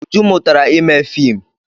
Uju mụtara ime fiim.